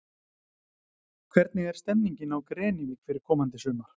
Hvernig er stemmingin á Grenivík fyrir komandi sumar?